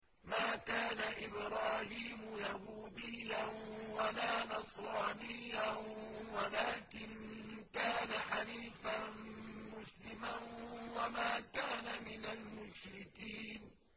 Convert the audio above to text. مَا كَانَ إِبْرَاهِيمُ يَهُودِيًّا وَلَا نَصْرَانِيًّا وَلَٰكِن كَانَ حَنِيفًا مُّسْلِمًا وَمَا كَانَ مِنَ الْمُشْرِكِينَ